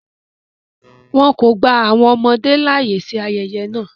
Wọn kọ gba awọn ọmọde laaye si ayẹyẹ náa